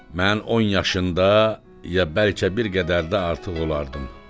Mən 10 yaşında ya bəlkə bir qədər də artıq olardım.